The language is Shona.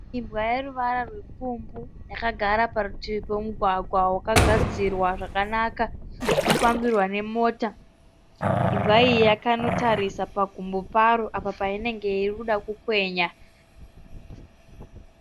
Imbwa ine ruvara rupfumbu yakagara parutivi pomugwagwa wakagadzirwa zvakanaka unofambirwa nemota. Imbwa iyi yakanotarisa pagumbo paro apa painenge iri kuda kukwenya.